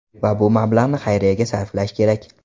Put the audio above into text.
Va bu mablag‘ni xayriyaga sarflash kerak.